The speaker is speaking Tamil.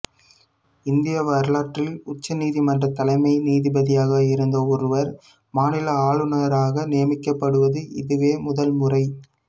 இந்திய வரலாற்றில் உச்சநீதிமன்ற தலைமை நீதிபதியாக இருந்த ஒருவர் மாநில ஆளுநராக நியமிக்கப்படுவது இதுவே முதல்முறை